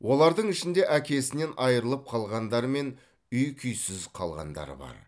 олардың ішінде әкесінен айырылып қалғандар мен үй күйсіз қалғандар бар